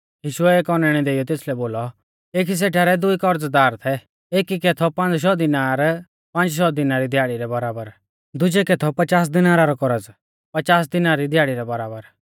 यीशुऐ एक औनैणै देइयौ तेसलै बोलौ एकी सेठा रै दुई करज़दार थै एकी कै थौ पांज़ शौ दिनार पांज़ शौ दिना री दिहाड़ी रै बराबर दुजै कै थौ पचास दिनारा रौ कौरज़ पचास दिना री दिहाड़ी रै बराबर